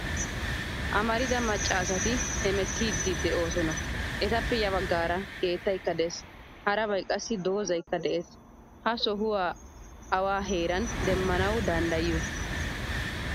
Amarida macca asati hemettidi deosona. Etappe ya baggaara keettaykka de'ees. Harabay qassi dozaykka de'ees. Ha sohuwaa awa heeran demmanawu danddayiyo?